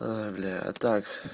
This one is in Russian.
ой бля а так